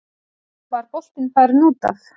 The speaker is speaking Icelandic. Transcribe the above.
Var boltinn farinn út af?